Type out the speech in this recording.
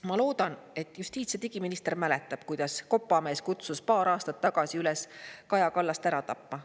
Ma loodan, et justiits‑ ja digiminister mäletab, kuidas kopamees kutsus paar aastat tagasi üles Kaja Kallast ära tapma.